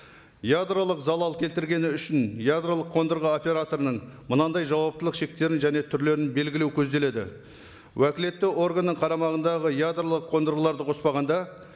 ядролық залал келтіргені үшін ядролық қондырғы операторының мынандай жауаптылық шектерін және түрлерін белгілеу көзделеді уәкілетті органның қарамағындағы ядролық қондырғыларды қоспағанда